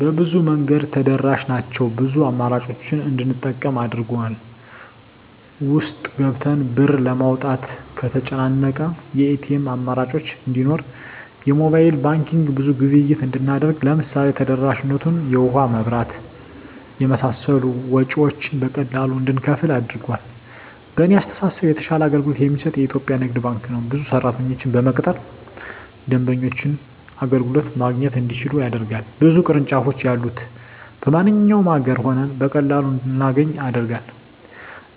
በብዙ መንገድ ተደራሽ ናቸው ብዙ አማራጮችን እንድንጠቀም አድርጎል። ውስጥ ገብተን ብር ለማውጣት ከተጨናነቀ የኤቲኤም አማራጮች እንዲኖር የሞባይል ባንኪንግ ብዙ ግብይት እንድናደርግ ለምሳሌ ተደራሽነቱ የውሀ, የመብራት የመሳሰሉ ወጭወችን በቀላሉ እንድንከፍል አድርጓል። በእኔ አስተሳሰብ የተሻለ አገልግሎት የሚሰጥ የኢትዪጵያ ንግድ ባንክ ነው። ብዙ ሰራተኞችን በመቅጠር ደንበኞች አገልግሎት ማግኘት እንዲችሉ ያደርጋል። ብዙ ቅርንጫፎች ያሉት በማንኛውም አገር ሆነን በቀላሉ እንድናገኝ ያደርጋል።